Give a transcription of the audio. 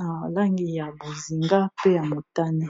na langi ya bozinga pe ya motane